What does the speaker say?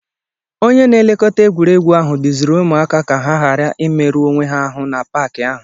Onye na-elekọta egwuregwu ahụ duziri ụmụaka ka ha ghara imerụ onwe ha ahụ n'Paakị ahụ